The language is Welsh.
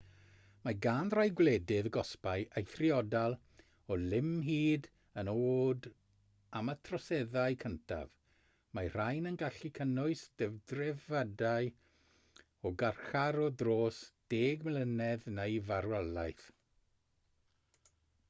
mae gan rai gwledydd gosbau eithriadol o lym hyd yn oed am y troseddau cyntaf mae'r rhain yn gallu cynnwys dedfrydau o garchar o dros 10 mlynedd neu farwolaeth